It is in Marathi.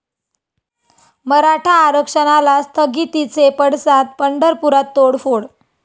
मराठा आरक्षणाला स्थगितीचे पडसाद, पंढरपुरात तोडफोड